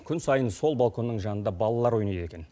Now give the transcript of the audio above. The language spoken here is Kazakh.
күн сайын сол балконның жанында балалар ойнайды екен